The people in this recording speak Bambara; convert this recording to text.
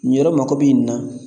Nin yɔrɔ mago bɛ nin na